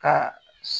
Ka